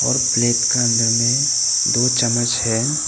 और प्लेट का अंदर में दो चम्मच है।